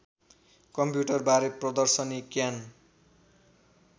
कम्प्युटरबारे प्रदर्शनी क्यान